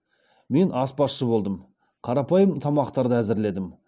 мен аспазшы болдым қарапайым тамақтарды әзірледім